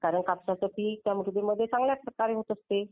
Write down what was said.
कापसाचे पीक त्या मृदेमध्ये चांगल्या प्रकारे होऊ शकते.